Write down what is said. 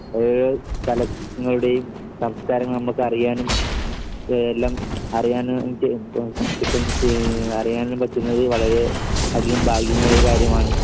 ഓരോരോ സ്ഥലങ്ങളുടെയും സംസ്കാരങ്ങൾ നമുക്കറിയാനും എല്ലാം അറിയാനും ആഹ് അറിയാനും പറ്റുന്നതിൽ വളരെ അധികം ഭാഗ്യമേറിയ ഒരു കാര്യമാണ്.